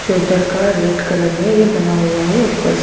चद्दर का red colour में ये बना हुआ है ऊपर से--